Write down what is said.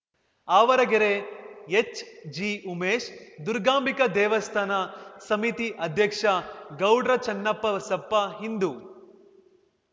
ಆವರಗೆರೆ ಎಚ್‌ಜಿಉಮೇಶ್‌ ದುರ್ಗಾಂಬಿಕಾ ದೇವಸ್ಥಾನ ಸಮಿತಿ ಅಧ್ಯಕ್ಷ ಗೌಡ್ರ ಚನ್ನಪ್ಪ ಬಸಪ್ಪ ಹಿಂದು